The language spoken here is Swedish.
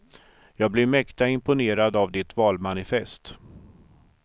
Jag blev mäkta imponerad av ditt valmanifest.